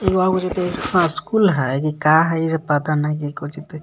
school हय की का है एजे पता नाही हई काउचि त इ --